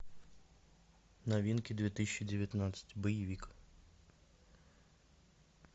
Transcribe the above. новинки две тысячи девятнадцать боевик